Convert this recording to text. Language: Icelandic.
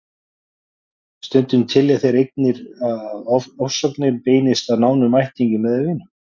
Stundum telja þeir einnig að ofsóknirnar beinist að nánum ættingjum eða vinum.